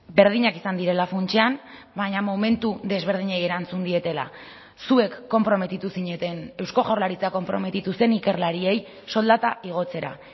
berdinak izan direla funtsean baina momentu desberdinei erantzun dietela zuek konprometitu zineten eusko jaurlaritza konprometitu zen ikerlariei soldata igotzera